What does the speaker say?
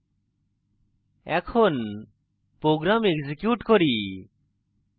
এখন program execute করি